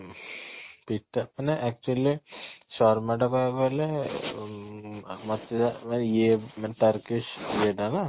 ଅ ପିଟା ମାନେ actually ଶର୍ମା ଟା ପାଇବାକୁ ହେଲେ ଇୟେ ମାନେ ଇଏଟା ନା